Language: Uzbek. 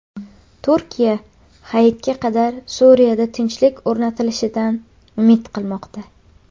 Turkiya Hayitga qadar Suriyada tinchlik o‘rnatilishidan umid qilmoqda.